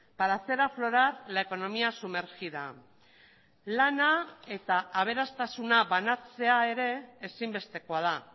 para hacer aflorar la economía sumergida lana eta aberastasuna banatzea ere ezinbestekoa da